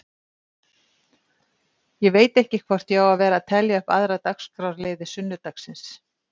Ég veit ekki hvort ég á að vera að telja upp aðra dagskrárliði sunnudagsins.